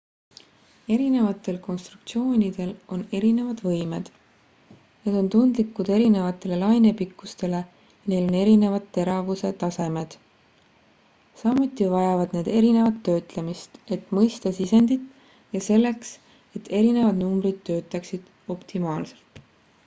erinevatel konstruktsioonidel on erinevad võimed need on tundlikud erinevatele lainepikkustele ja neil on erinevad teravuse tasemed samuti vajavad need erinevat töötlemist et mõista sisendit ja selleks et erinevad numbrid töötaksid optimaalselt